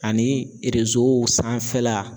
Ani sanfɛla